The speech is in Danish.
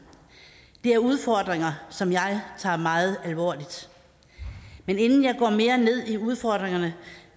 det er udfordringer som jeg tager meget alvorligt inden jeg går mere ned i udfordringerne